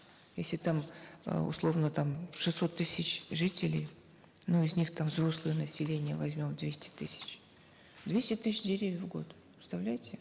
если там э условно там шестьсот тысяч жителей ну из них там взрослое население возьмем двести тысяч двести тысяч деревьев в год представляете